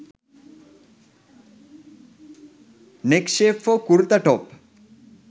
neck shape for kurta top